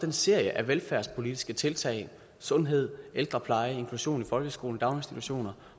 en serie af velfærdspolitiske tiltag sundhed ældrepleje inklusion i folkeskolen daginstitutioner